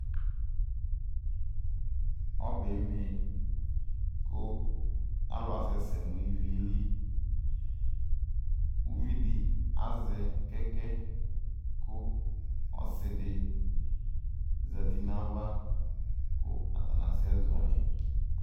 Ɔbeme kʋ alʋ asɛsɛ nʋ ivi yɛ li ʋvidi azɛ kɛkɛ kʋ ɔsidi zati nʋ ayʋ ava kʋ atani asɛ zɔli